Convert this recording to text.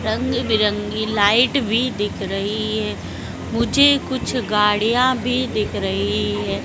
रंग बिरंगी लाइट भी दिख रही है मुझे कुछ गाड़ियां भी दिख रही है।